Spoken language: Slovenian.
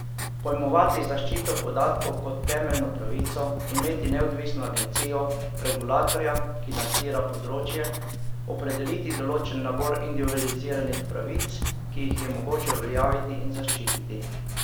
Pojmovati zaščito podatkov kot temeljno pravico, imeti neodvisno agencijo, regulatorja, ki nadzira področje, opredeliti določen nabor individualiziranih pravic, ki jih je mogoče uveljaviti in zaščititi.